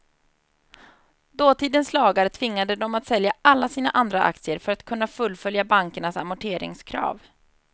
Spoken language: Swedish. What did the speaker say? Dåtidens lagar tvingade dem att sälja alla sina andra aktier för att kunna fullfölja bankernas amorteringskrav.